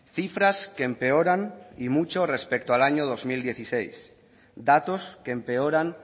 cifras que empeoran y mucho respecto al año dos mil dieciséis datos que empeoran